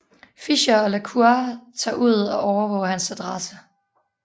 Fischer og La Cour tager ud og overvåger hans adresse